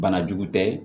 Banajugu tɛ